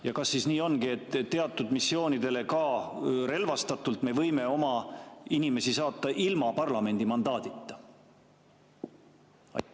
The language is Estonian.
Ja kas siis nii ongi, et teatud missioonidele, ka relvastatult, me võime oma inimesi saata ilma parlamendi mandaadita?